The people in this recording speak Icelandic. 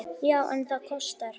Já, en það kostar!